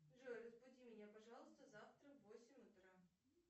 джой разбуди меня пожалуйста завтра в восемь утра